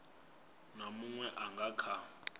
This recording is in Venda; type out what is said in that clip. na munwe a nga kha